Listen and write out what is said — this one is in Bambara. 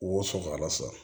Woso fagala sa